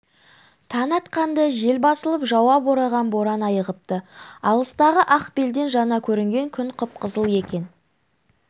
таң атқанда жел басылып жауа бораған боран айығыпты алыстағы ақ белден жаңа көрінген күн қып-қызыл екен